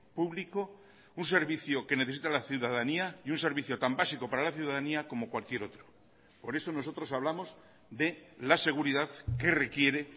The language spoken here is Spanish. público un servicio que necesita la ciudadanía y un servicio tan básico para la ciudadanía como cualquier otro por eso nosotros hablamos de la seguridad que requiere